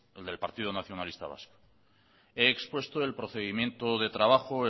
el del partido nacionalista vasco he expuesto el procedimiento de trabajo